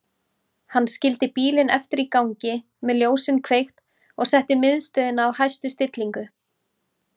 Hann skildi bílinn eftir í gangi með ljósin kveikt og setti miðstöðina á hæstu stillingu.